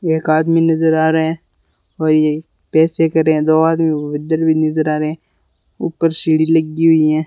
एक आदमी नजर आ रहे हैं और ये पैसे करें दो आदमी उधर भी नजर आ रहे ऊपर सीढ़ी लगी हुई है।